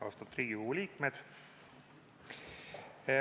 Austatud Riigikogu liikmed!